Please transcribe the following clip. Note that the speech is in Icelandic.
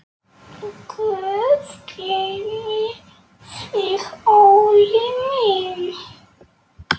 Guð geymi þig, Óli minn.